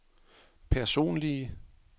personlige